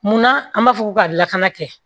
Munna an b'a fɔ ko ka lakana kɛ